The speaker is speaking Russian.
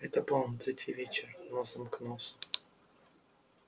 это было на третий вечер носом к носу